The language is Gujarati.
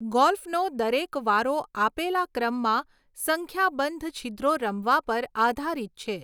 ગોલ્ફનો દરેક વારો આપેલા ક્રમમાં સંખ્યાબંધ છિદ્રો રમવા પર આધારિત છે.